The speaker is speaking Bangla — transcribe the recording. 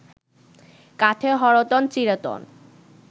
কাঠে হরতন, চিঁড়েতন